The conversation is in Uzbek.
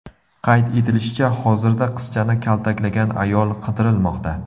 Qayd etilishicha, hozirda qizchani kaltaklagan ayol qidirilmoqda.